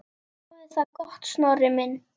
Hafðu það gott, Snorri minn.